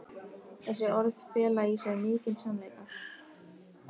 Þessi orð fela í sér mikinn sannleika.